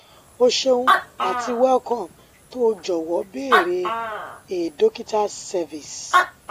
o ṣeun atics] welcome to the jọwọ beere a dokitas service